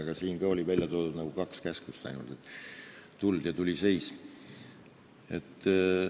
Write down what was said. Aga siin oli välja toodud ainult kaks käsklust: "Tuld!" ja "Tuli seis!".